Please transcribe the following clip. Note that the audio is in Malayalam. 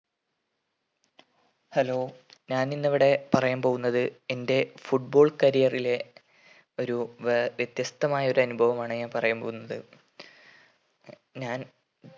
hello ഞാൻ ഇന്നിവിടെ പറയാൻ പോകുന്നത് എൻ്റെ football career ലെ ഒരു വെ വിത്യസ്തമായ ഒരു അനുഭവമാണ് ഞാൻ പറയാൻ പോകുന്നത് ഞാൻ